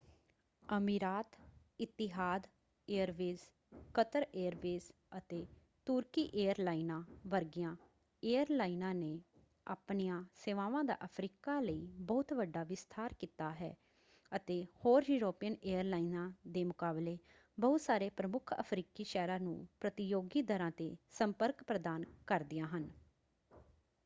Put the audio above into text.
ਅਮੀਰਾਤ Etihad airways Qatar airways ਅਤੇ ਤੁਰਕੀ ਏਅਰਲਾਈਨਾਂ ਵਰਗੀਆਂ ਏਅਰਲਾਈਨਾਂ ਨੇ ਆਪਣੀ ਆਂ ਸੇਵਾਵਾਂ ਦਾ ਅਫਰੀਕਾ ਲਈ ਬਹੁਤ ਵੱਡਾ ਵਿਸਥਾਰ ਕੀਤਾ ਹੈ ਅਤੇ ਹੋਰ ਯੂਰਪੀਅਨ ਏਅਰਲਾਈਨਾਂ ਦੇ ਮੁਕਾਬਲੇ ਬਹੁਤ ਸਾਰੇ ਪ੍ਰਮੁੱਖ ਅਫਰੀਕੀ ਸ਼ਹਿਰਾਂ ਨੂੰ ਪ੍ਰਤੀਯੋਗੀ ਦਰਾਂ ‘ਤੇ ਸੰਪਰਕ ਪ੍ਰਦਾਨ ਕਰਦੀਆਂ ਹਨ।